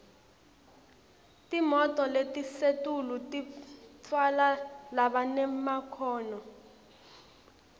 timoto letisetulu titfwala labanemakhono